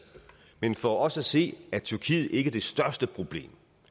men for os at se er tyrkiet ikke det største problem